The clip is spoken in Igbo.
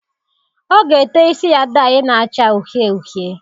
Ọ ga-ete isi ya dayị na-acha uhie uhie.